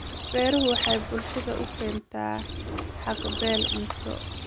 Beeruhu waxay bulshada u keentaa haqab-beel cunto.